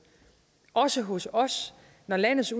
også hos os når landets